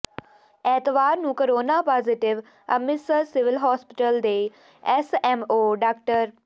ਐਤਵਾਰ ਨੂੰ corona positive Amritsar civil ਹਸਪਤਾਲ ਦੇ ਐੱਸਐੱਮਓ ਡਾ